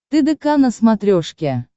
тдк на смотрешке